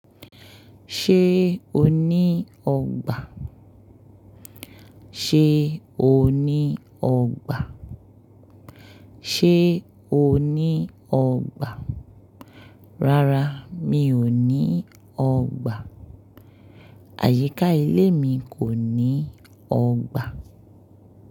Ṣé o ní ọgbà? Ṣé o ní ọgbà? Ṣé o ní ọgbà? Rárá, mi ò ní ọgbà. Àyíká ilé mi kò ní ọgbà.